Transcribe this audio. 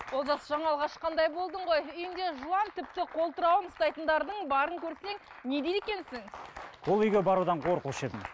олжас жаңалық ашқандай болдың ғой үйінде жылан тіпті қолтырауын ұстайтындардың барын көрсең не дейді екенсің ол үйге барудан қорқушы едім